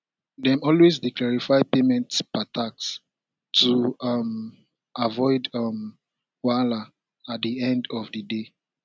dem always dey clarify payment per task to um avoid um wahala at di end of di day